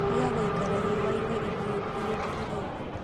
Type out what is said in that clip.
Tiga gũikara riũainĩ ihiũ ihinda iraihu